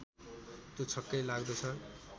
त्यो छक्कै लाग्दोछ